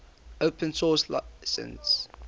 open source license